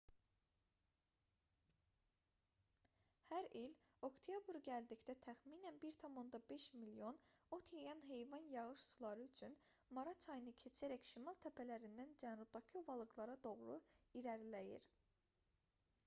hər il oktyabr gəldikdə təxminən 1,5 milyon ot yeyən heyvan yağış suları üçün mara çayını keçərək şimal təpələrindən cənubdakı ovalıqlara doğru irəliləyir